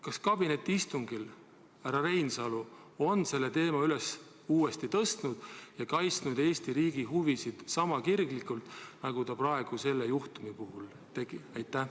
Kas kabinetiistungil härra Reinsalu on selle teema üles uuesti tõstnud ja kaitsnud Eesti riigi huvisid sama kirglikult, nagu ta praegu selle juhtumi puhul tegi?